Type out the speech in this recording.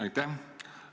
Aitäh!